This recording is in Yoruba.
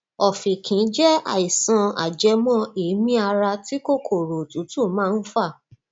ọfìnkì jẹ àìsàn ajẹmọ èémí ara tí kòkòrò òtútù máa ń fà